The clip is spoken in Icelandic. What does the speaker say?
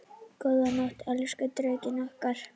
Góða nótt, elsku Drekinn okkar.